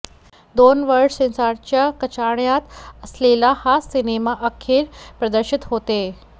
दोन वर्ष सेन्सॉरच्या कचाट्यात असलेला हा सिनेमा अखेर प्रदर्शित होतोय